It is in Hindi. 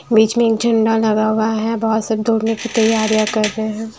बीच में एक झंडा लगा हुआ है बहुत सब धोने की तैयारियां कर रहे हैं।